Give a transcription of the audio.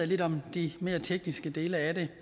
lidt om de mere tekniske dele af det